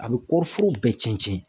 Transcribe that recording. A bɛ kɔɔriforo bɛɛ cɛn cɛn.